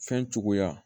Fɛn cogoya